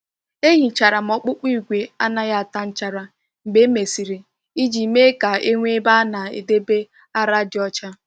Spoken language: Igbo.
E hichara m ọkpọkọ igwe anaghị ata nchara mgbe e mesịrị iji mee ka e nwee ebe a na-edebe ara dị ọcha.